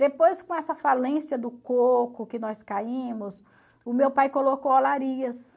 Depois, com essa falência do coco que nós caímos, o meu pai colocou